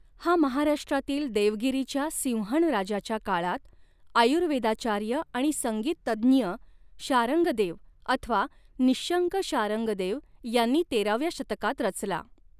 हा महाराष्ट्रातील देवगिरीच्या सिंहणराजाच्या काळात आयुर्वेदाचार्य आणि संगीतज्ञ शारंगदेव अथवा निहशंक शारंगदेव यांनी तेराव्या शतकात रचला.